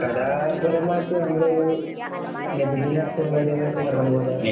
കലാപരമായിട്ടു നമ്മൾ നബിദിന പരിപാടികളൊക്കെ വരാൻ പോകയല്ലേ